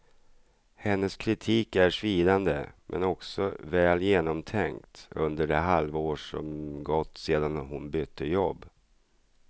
Hennes kritik är svidande, men också väl genomtänkt under det halva år som gått sedan hon bytte jobb.